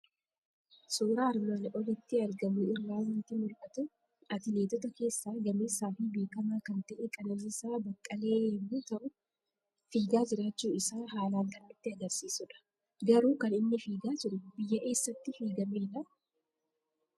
Suuraa armaan olitti argamu irraa waanti mul'atu; atileetota keessa gameessafi beekama kan ta'e Qananiisaa Baqqalee yommuu ta'u, fiigaa jiraachuu Isaa haalan kan nutti agarsiisudh. Garuu kan inni fiigaa jiru biyya eessatti fiigamedhaa?